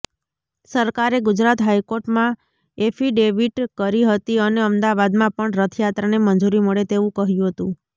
સરકારે ગુજરાત હાઈકોર્ટમાં એફિડેવિટ કરી હતી અને અમદાવાદમાં પણ રથયાત્રાને મંજૂરી મળે તેવું કહ્યું હતું